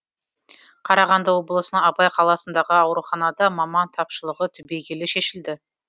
қарағанды облысының абай қаласындағы ауруханада маман тапшылығы түбегейлі шешілді